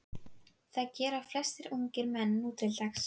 Það gera flestir ungir menn nútildags.